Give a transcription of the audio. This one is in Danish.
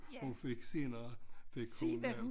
Hun fik senere fik hun øh